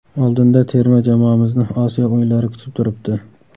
Oldinda terma jamoamizni Osiyo o‘yinlari kutib turibdi.